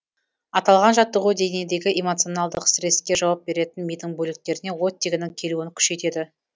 аталған жаттығу денедегі эмоционалдық стресске жауап беретін мидың бөліктеріне оттегінің келуін күшейтеді